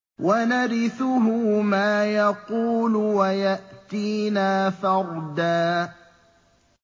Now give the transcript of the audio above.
وَنَرِثُهُ مَا يَقُولُ وَيَأْتِينَا فَرْدًا